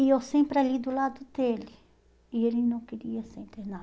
E eu sempre ali do lado dele, e ele não queria ser internado.